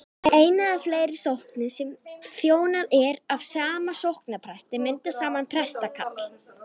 ein eða fleiri sóknir sem þjónað er af sama sóknarpresti mynda saman prestakall